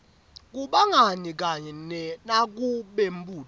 kubangani kanye nakubembutfo